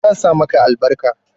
zan sa maka albarka